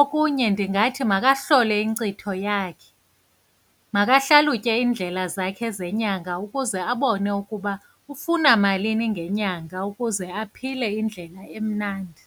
Okunye, ndingathi makahlole inkcitho yakhe, makahlalutye iindlela zakhe zenyanga ukuze abone ukuba ufuna malini ngenyanga, ukuze aphile indlela emnandi.